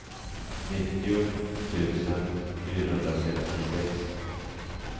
nittio tusen fyrahundrasextiosex